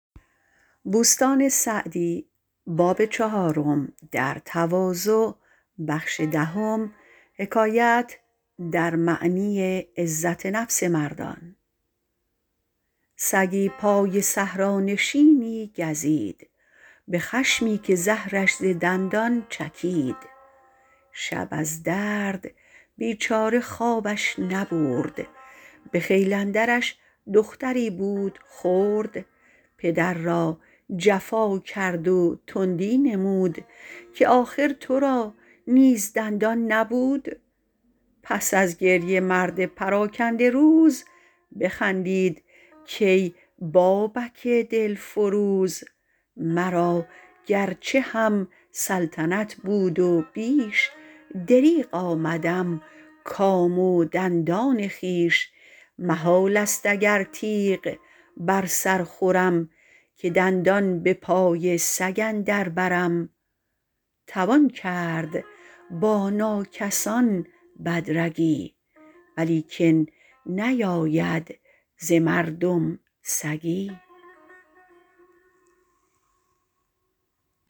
سگی پای صحرانشینی گزید به خشمی که زهرش ز دندان چکید شب از درد بیچاره خوابش نبرد به خیل اندرش دختری بود خرد پدر را جفا کرد و تندی نمود که آخر تو را نیز دندان نبود پس از گریه مرد پراکنده روز بخندید کای بابک دلفروز مرا گرچه هم سلطنت بود و بیش دریغ آمدم کام و دندان خویش محال است اگر تیغ بر سر خورم که دندان به پای سگ اندر برم توان کرد با ناکسان بد رگی ولیکن نیاید ز مردم سگی